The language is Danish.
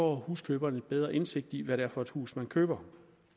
huskøber en bedre indsigt i hvad det er for et hus man køber